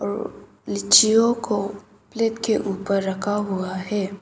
लिचीयो को प्लेट के ऊपर रखा हुआ है।